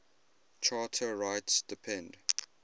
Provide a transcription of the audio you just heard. charter rights depend